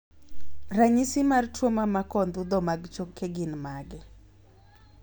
ranyisi mar tuo mamako ondhudho mag choke gin mage